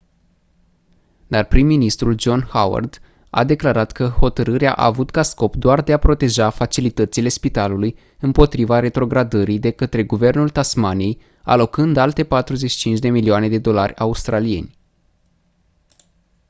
dar prim-ministrul john howard a declarat că hotărârea a avut ca scop doar de a proteja facilitățile spitalului împotriva retrogradării de către guvernul tasmaniei alocând alte 45 de milioane de dolari australieni